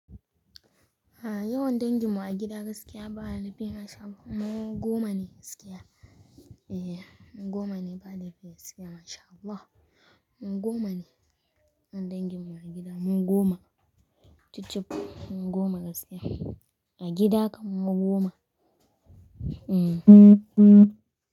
Yawan danginmu a gida gaskiya ba laifi masha Allah. Mu goma ne gaskiya. Eh goma ne ba laifi gaskiya masha Allah. Goma ne yan danginmu a gida. Mu goma. Chichip goma gaskiya. A gida kam mu goma.